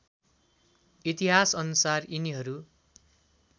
इतिहास अनुसार यिनीहरू